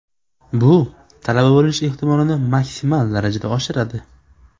Bu talaba bo‘lish ehtimolini maksimal darajada oshiradi.